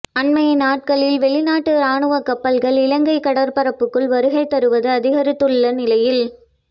அண்மைய நாட்களில் வெளிநாட்டு இராணுவ கப்பல்கள் இலங்கை கடற்பரப்புக்குள் வருகை தருவது அதிகரித்துள்ள நிலையில்